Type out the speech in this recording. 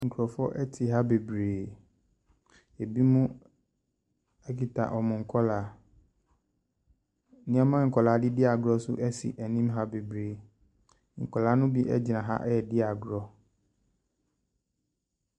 Mmaa adwadifoɔ na ahyiam a wɔahyɛ wɔn dwa yi. Ɔbaakofoɔ ɛte akyire ɛde adeɛ akata ne ti so. Na wɔn dwa no, ankaa wɔ hɔ, ɛna aduaba bebree nso wɔ hɔ.